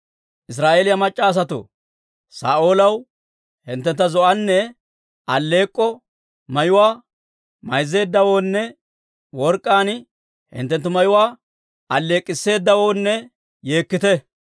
«Israa'eeliyaa mac'c'a asatoo, Saa'oolaw, hinttentta zo'onne alleek'k'o mayuwaa mayzzeeddawoonne, work'k'aan hinttenttu mayuwaa alleek'k'isseedawoonne yeekkite.